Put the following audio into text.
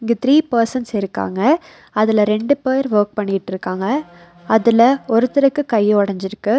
இங்க three persons இருக்காங்க அதுல ரெண்டு பேர் வொர்க் பண்ணிட்ருக்காங்க அதுல ஒருத்தருக்கு கை ஒடஞ்சிருக்கு.